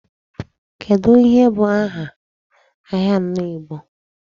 Kedu ihe bụ aha ahịa anọ Igbo?